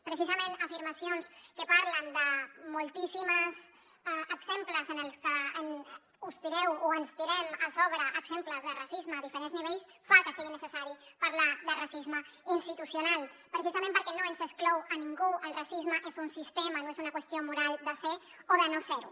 precisament afirmacions que parlen de moltíssims exemples en què us tireu o ens tirem a sobre exemples de racisme a diferents nivells fan que sigui necessari parlar de racisme institucional precisament perquè no ens exclou a ningú el racisme és un sistema no és una qüestió moral de ser ho o de no ser ho